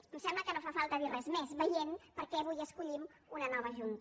em sembla que no fa falta dir res més veient per què avui escollim una nova jun·ta